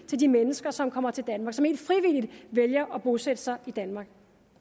til de mennesker som kommer til danmark og som ikke frivilligt vælger at bosætte sig i danmark